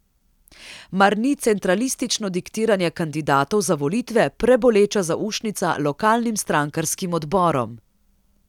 Mar ni centralistično diktiranje kandidatov za volitve preboleča zaušnica lokalnim strankarskim odborom?